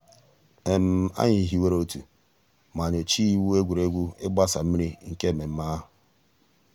ànyị̀ hìwèrè òtù mà nyòchàá ìwù ègwè́ré́gwụ̀ ị̀gbàsa mmìrì nke mmẹ̀mmẹ̀ àhụ̀.